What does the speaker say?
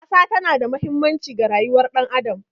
Ƙasa tana da mahimmanci ga rayuwar ɗan adam.